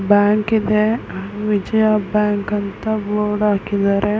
Bank ಇದೆ Vijaya bank ಅಂತ board ಹಾಕಿದಾರೆ.